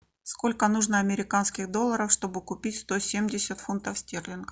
сколько нужно американских долларов чтобы купить сто семьдесят фунтов стерлингов